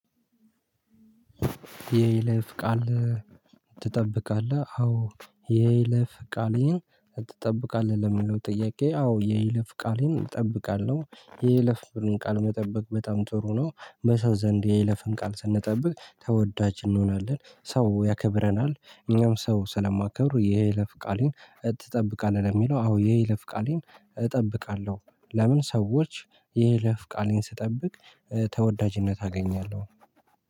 የይለፍ ቃል ትጠብቃለህ? አዎ የይለፍ ቃሌን ትጠብቃለህ ለሚለው ጥያቄ አዎ የይለፍ ቃሌን እጠብቃለሁ የይለፍንም ቃል መጠበቅ በጣም ጥሩ ነው። በሰው ዘንድ የይለፍን ቃል ስንጠብቅ ተወዳጅ እንሆናለን። ሰው ያከብረናል እኛም ሰው ስለማከብር። የይለፍ ቃሌን ትጠብቃለህ ለሚለው አዎ የይለፍ ቃሌን እጠብቃለሁ። ለምን? ሰዎች የይለፍ ቃሌን ስጠብቅ ተወዳጅነት አገኛለሁ